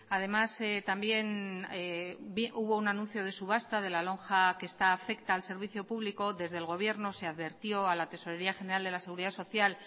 además también hubo un anuncio de subasta de la lonja que está afecta al servicio público desde el gobierno se advirtió a la tesorería general de la seguridad social